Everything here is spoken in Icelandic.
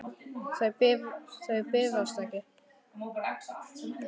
Þau bifast ekki.